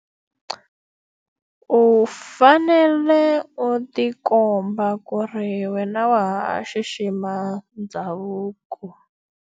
U fanele u ti komba ku ri wena wa ha xixima ndhavuko.